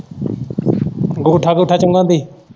ਅੰਗੂਠਾ ਅੰਗੂਠਾ ਚੁੰਗਨ ਦੀ?